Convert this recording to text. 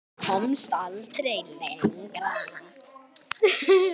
Komst aldrei lengra.